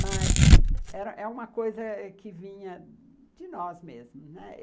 Mas é uma coisa que vinha de nós mesmo, né?